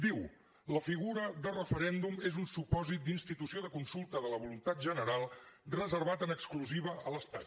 diu la figura de referèndum és un supòsit d’institució de consulta de la voluntat general reservat en exclusiva a l’estat